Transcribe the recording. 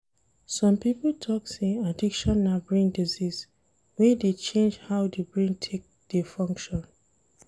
Some pipo talk sey addiction na brain disease wey dey change how di brain take dey function